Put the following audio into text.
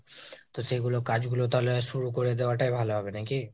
তো সেইগুলো কাজগুলো তাহলে শুরুকরে দেয়াটাই ভালো হবে নাকি?